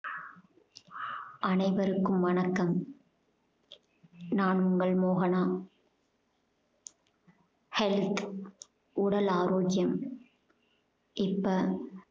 அனைவருக்கும் வணக்கம் நான் உங்கள் மோகனா health உடல் ஆரோக்கியம் இப்ப